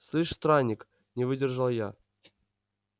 слышь странник не выдержала я